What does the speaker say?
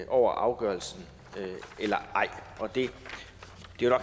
over afgørelsen eller ej det